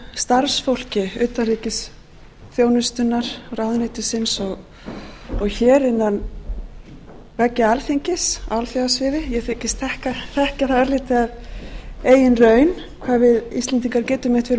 starfsfólki utanríkisþjónustunnar ráðuneytisins og hér innan veggja alþingis á alþjóðasviði ég þykist þekkja það örlítið af eigin raun hvað við íslendingar getum